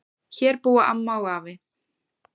Hér búa amma og afi.